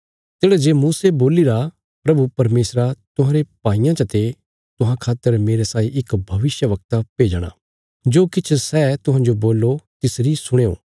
तेढ़ा जे मूसे बोलीरा प्रभु परमेशरा तुहांरे भाईयां चते तुहां खातर मेरे साई इक भविष्यवक्ता भेजणा जो किछ सै तुहांजो बोल्लो तिसरी सुणयों